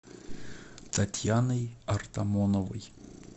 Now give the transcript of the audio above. татьяной артамоновой